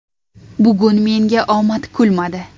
Bugun menga omad kulmadi.